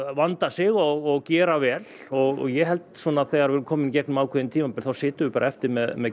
vanda sig og gera vel og ég held þegar við erum komin í gegnum ákveðið tímabil þá sitjum við eftir með